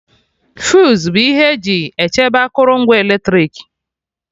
Fuse bụ ihe eji echebe akụrụngwa eletrik